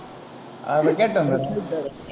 ஆஹ் இதோ கேட்டு வந்துடறேன்.